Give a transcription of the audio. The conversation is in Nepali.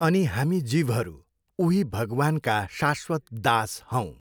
अनि हामी जीवहरू उही भगवान्का शाश्वत दास हौँ।